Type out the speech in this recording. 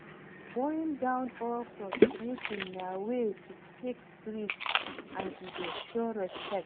Bowing down or prostrating na way to take greet and e dey show respect